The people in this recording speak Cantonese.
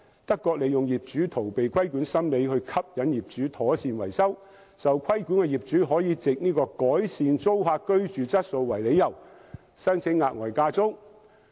德國利用業主逃避規管的心理，吸引業主妥善維修物業，受規管業主可以改善租客居住質素為理由，申請額外加租。